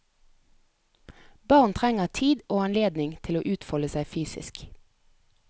Barn trenger tid og anledning til å utfolde seg fysisk.